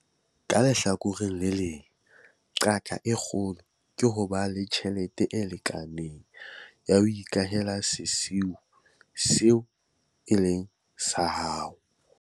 Ka lehlakoreng le leng, qaka e kgolo ke ho ba le tjhelete e lekaneng ya ho ikahela sesiu seo e leng sa hao.